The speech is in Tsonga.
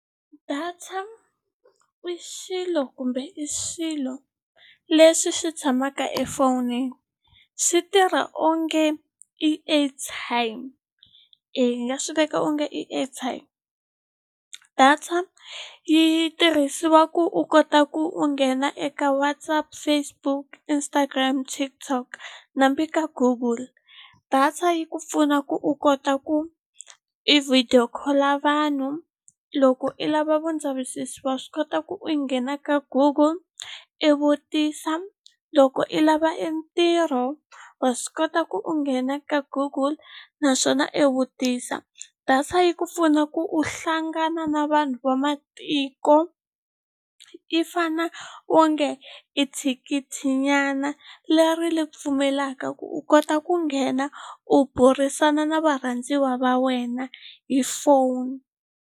Data i xilo kumbe i swilo leswi swi tshamaka efonini swi tirha onge i airtime hi nga swi veka onge i airtime data yi tirhisiwa ku u kota ku u nghena eka WhatsApp Facebook Instagram TikTok hambi ka Google data yi ku pfuna ku u kota ku i video call vanhu loko i lava vundzavisiso wa swi kota ku u nghena ka Google i vutisa loko i lava e ntirho wa swi kota ku u nghena ka Google naswona i vutisa data yi ku pfuna ku u hlangana na vanhu vamatiko i fane onge i thikithi nyana leri ri pfumelaka ku u kota ku nghena u burisana na varhandziwa va wena hi phone.